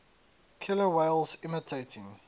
killer whales imitating